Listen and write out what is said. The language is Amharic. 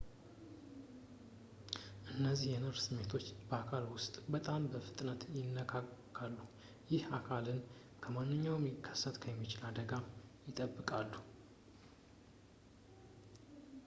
እነዚህ የነርቭ ስሜቶች በአካል ውስጥ በጣም በፍጥነት ይላካሉ ይህ አካልን ከማንኛውም ሊከሰት የሚችል አደጋ ይጠብቃሉ